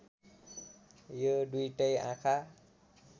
यो दुईटै आँखा